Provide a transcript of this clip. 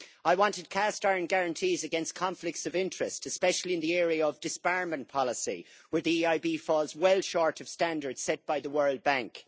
I wanted cast iron guarantees against conflicts of interest, especially in the area of disbarment policy, where the EIB falls well short of the standards set by the World Bank.